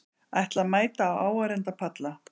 Ætla að mæta á áheyrendapalla